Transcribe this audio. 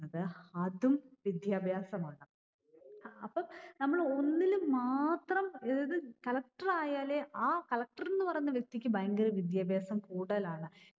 അത് അതും വിദ്യാഭ്യാസമാണ് അപ്പം നമ്മള് ഒന്നില് മാത്രം ഏർ ത് collector ആയാലേ ആ collector ന്ന് പറയുന്ന വ്യക്തിക്ക് ഭയങ്കര വിദ്യാഭ്യാസം കൂടുതലാണ്